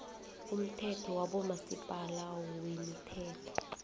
umthetho wabomasipala wemithelo